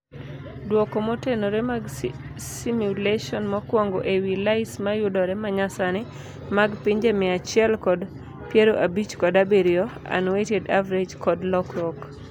Duoko motenore mag simulation mokwongo ewii LAYS mayudore manyasani mag pinje mia achiel kod piero abich kod abirio (unweighted average) kod lokruok.